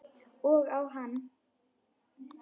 Og á hann.